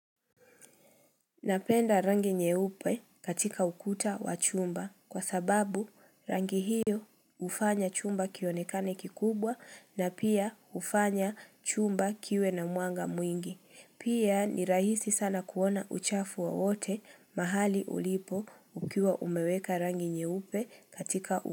Napenda rangi nyeupe katika ukuta wa chumba kwa sababu rangi hiyo ufanya chumba kionekane kikubwa na pia ufanya chumba kiwe na mqanga mwingi. Pia ni rahisi sana kuona uchafu wowote mahali ulipo ukiwa umeweka rangi nyeupe katika u.